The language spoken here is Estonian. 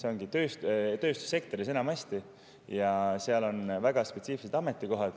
Enamasti on see tööstussektor ja seal on väga spetsiifilised ametikohad.